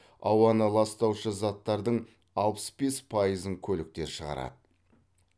ауаны ластаушы заттардың алпыс бес пайызын көліктер шығарады